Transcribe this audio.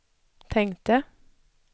tänkte